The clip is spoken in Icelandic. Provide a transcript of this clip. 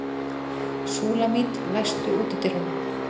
Súlamít, læstu útidyrunum.